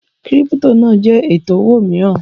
Kírípítò náà jẹ́ ètò owó mìíràn